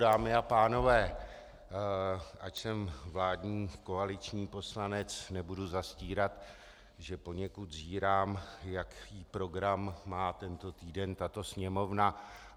Dámy a pánové, ač jsem vládní koaliční poslanec, nebudu zastírat, že poněkud zírám, jaký program má tento týden tato Sněmovna.